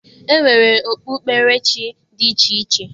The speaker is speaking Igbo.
E nwere okpukperechi dị iche iche.